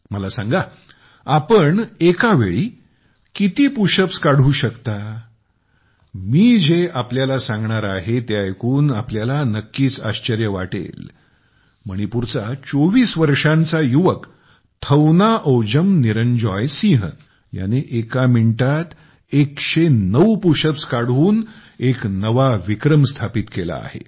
मला सांगा तुम्ही एका वेळी किती पुशअप्स करू शकता मी जे आपल्याला सांगणार आहे ते ऐकून आपल्याला नक्कीच आश्चर्य वाटेल मणिपूरचा 24 वर्षांचा युवक थौनाओजम निरंजॉय सिंह ह्याने एका मिनिटात 109 पुशअप्स करून एक नवा विक्रम स्थापित केला आहे